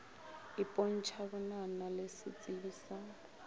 ipontšha bonana le setsebi sa